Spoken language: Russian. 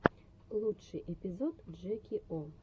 лучший эпизод джеки о